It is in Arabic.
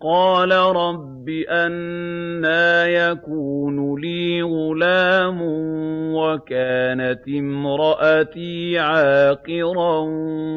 قَالَ رَبِّ أَنَّىٰ يَكُونُ لِي غُلَامٌ وَكَانَتِ امْرَأَتِي عَاقِرًا